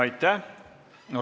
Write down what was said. Aitäh!